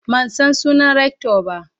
man San sunan Rector ba.